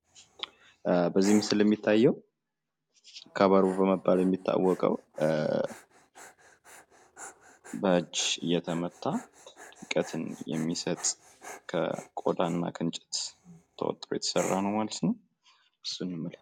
በዚህ ምስል የሚታየው ከበሮ በመባል የሚታወቀው በእጅ እየተመታ ድምቀትን የሚሰጥ ከቆዳ እና ከእንጨት ተውጥሮ የተሰራ ማለት ነው።